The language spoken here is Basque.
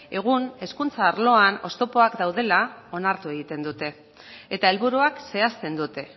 egun hezkuntza arloan oztopoak daudela onartu egiten dute eta helburuak zehazten dute